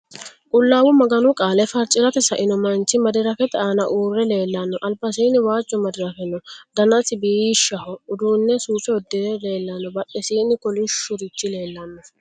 Qullaawa Maganu Qaale farci'rate saino manchi Madirakete aana uurre leellanno:albasiinni waajjo Madi'rake no: Danasi biishshaho udduunne suufe uddire leellanno badhesiinni kolishshu'richi leellanno